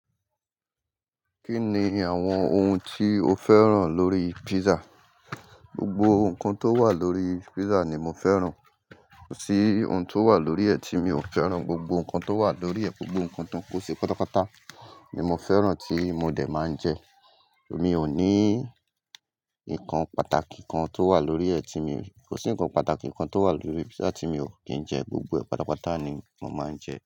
Kí ni àwọn ohun tí o fẹ́ràn lórí pizza? Gbogbo nǹkan tó wà lórí pizza ni mo fẹ́ràn. Kò sí ohun tó wà lórí ẹ tí mi ò fẹ́ràn. Gbogbo nǹkan tó wà lórí ẹ, gbogbo nǹkan tan ko ṣi pátapàta ni mo fẹ́ràn tí mo dẹ̀ máa ń jẹ. Mi ò ní ǹkan pàtàkì kan tó wà lórí ẹ tí mi, kò sí ǹkan pàtàkì kan tó wà lórí pizza tí mi ò kí ń jẹ. Gbogbo ẹ̀ patàpàtà ni mo máa ń jẹ.